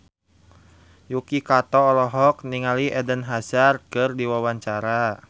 Yuki Kato olohok ningali Eden Hazard keur diwawancara